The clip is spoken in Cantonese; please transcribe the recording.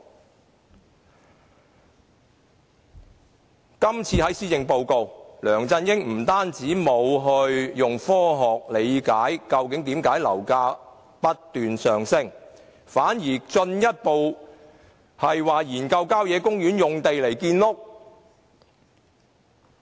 在這次施政報告中，梁振英不單沒有以科學角度理解樓價為何不斷上升，反而進一步研究以郊野公園用地建屋。